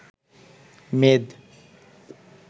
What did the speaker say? মেদ